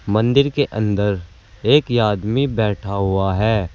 मंदिर के अंदर एक आदमी बैठा हुआ है।